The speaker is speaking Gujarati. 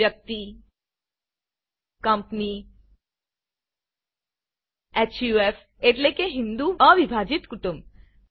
વ્યક્તિ કંપની હફ એટલે કે હિંદુ અ વિભાજીત કુટુંબ